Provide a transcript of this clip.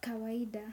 kawaida.